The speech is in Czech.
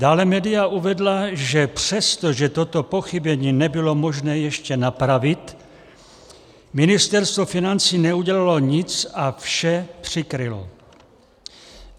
Dále média uvedla, že přesto, že toto pochybení bylo možné ještě napravit, Ministerstvo financí neudělalo nic a vše přikrylo.